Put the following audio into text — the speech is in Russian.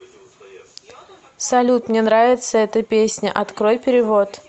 салют мне нравится эта песня открой перевод